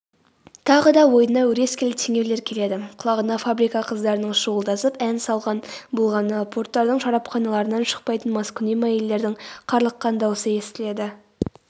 тағы да ойына өрескел теңеулер келеді құлағына фабрика қыздарының шуылдасып ән салған болғаны порттардың шарапханаларынан шықпайтын маскүнем әйелдердің қарлыққан дауысы естіледі